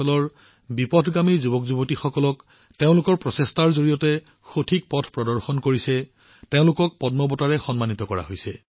তেওঁলোকৰ প্ৰচেষ্টাৰ বাবে যিসকলে নক্সালবাদী প্ৰভাৱিত অঞ্চলৰ বিপথগামী যুৱকযুৱতীসকলক সঠিক পথ প্ৰদৰ্শন কৰে তেওঁলোকক পদ্ম বঁটাৰে সন্মানিত কৰা হৈছে